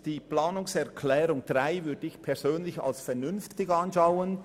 Die Planungserklärung 3 würde ich persönlich als vernünftig betrachten;